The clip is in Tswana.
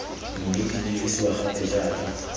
mme di dirisiwa gape jaaka